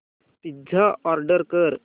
pizza order कर